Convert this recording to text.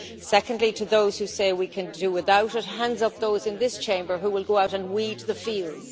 Secondly, to those who say we can do without it hands up those in this Chamber who will go out and weed the fields.